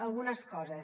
algunes coses